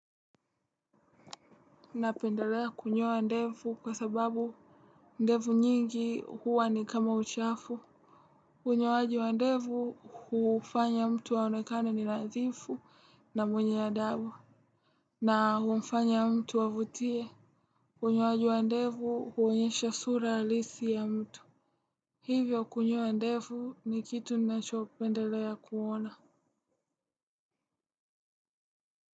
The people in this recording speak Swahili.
Napendelea kunyoa ndevu kwa sababu ndevu nyingi huwa ni kama uchafu. Unyo waji wa ndevu hufanya mtu aonekane ni nadhifu na mwenye adabu. Na humfanya mtu avutie. Unyo waji wa ndevu huonyesha sura halisi ya mtu. Hivyo kunyoa ndevu nikitu ninachope ndelea kuona.